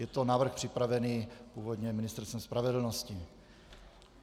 Je to návrh připravený původně Ministerstvem spravedlnosti.